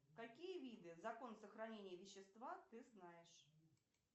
какие виды закон сохранения вещества ты знаешь